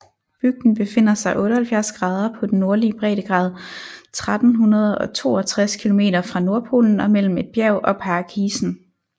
Bygden befinder sig 78 grader på den nordlige breddegrad 1362 kilometer fra Nordpolen og mellem et bjerg og pakisen